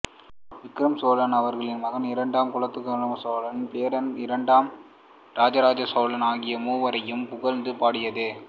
விக்கிரம சோழன் அவரின் மகன் இரண்டாம் குலோத்துங்க சோழன் பேரன் இரண்டாம் இராஜராஜ சோழன் ஆகிய மூவரையும் புகழ்ந்து பாடியது